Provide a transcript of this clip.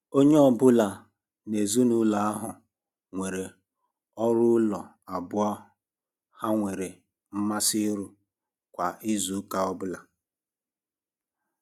Onye um ọ bụla n'ezinụlọ ahụ nwere um ọrụ ụlọ abụọ ha um nwere mmasị ịrụ kwa izuụka ọbụla.